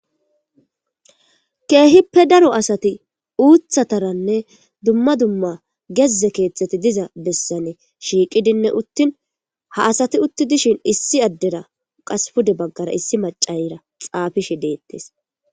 keehippe daro asati uuthataranne dumma dumma gezze keeththeti diza bessane shiiqidinne uttin ha asati utti dishin issi addera qas pude baggara issi macayra xaafishe deettees